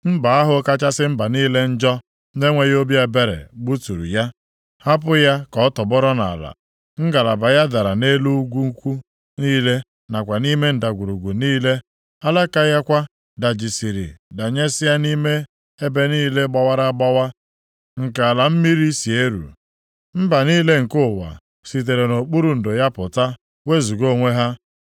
Mba ahụ kachasị mba niile njọ na-enweghị obi ebere gbuturu ya, hapụ ya ka ọ tọgbọrọ nʼala. Ngalaba ya dara nʼelu ugwu ukwu niile nakwa nʼime ndagwurugwu niile. Alaka ya kwa dajisịrị danyesịa nʼime ebe niile gbawara agbawa nke ala mmiri si eru. Mba niile nke ụwa sitere nʼokpuru ndo ya pụta wezuga onwe ha.